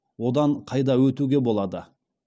одан қайда өтуге болады